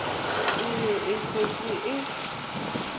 e ne e setse e